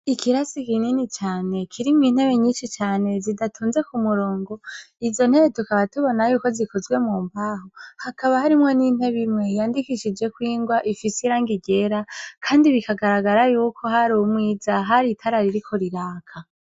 Ikirasi kinini cyane, kirimwo intebe nyinshi cane zidatonze ku murongo. Izo ntebe tukaba tubona yuko zikozwe mumbaho. Hakaba harimwo n'intebe imwe, yandikishijwe ko ingwa ifise irangi ryera. Kndi biragaragara yuko har'umwiza ,har' itara ririko riraka.